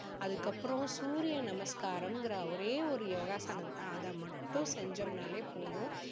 அதுக்கு அப்பறம் சூரிய நமஸ்காரம்ங்கிற ஒரே ஒரு யோகாசனம் அதை மட்டும் செஞ்சோம்னாலே போதும்.